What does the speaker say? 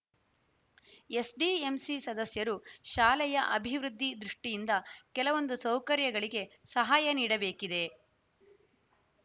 SDMC ಸದಸ್ಯರು ಶಾಲೆಯ ಅಭಿವೃದ್ಧಿ ದೃಷ್ಠಿಯಿಂದ ಕೆಲವೊಂದು ಸೌಕರ್ಯಗಳಿಗೆ ಸಹಾಯ ನೀಡಬೇಕಿದೆ